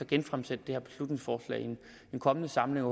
genfremsætte det her beslutningsforslag i den kommende samling og